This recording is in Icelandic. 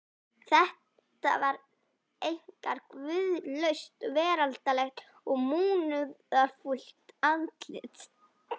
Þetta var einkar guðlaust, veraldlegt og munúðarfullt andlit.